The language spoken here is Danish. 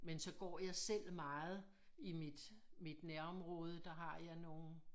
Men så går jeg selv meget i mit mit nærområde der har jeg noget